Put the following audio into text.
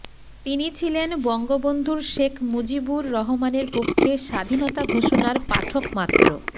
তিনি ছিলেন বঙ্গবন্ধুর শেখ মুজিবুর রহমানের পক্ষে স্বাধীনতা ঘোষণার পাঠক মাত্র